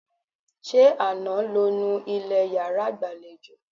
Ṣé àná lo nu ilẹ̀ yàrá ìgbàlejò?